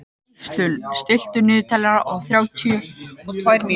Gíslunn, stilltu niðurteljara á þrjátíu og tvær mínútur.